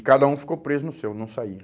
E cada um ficou preso no seu, não saía.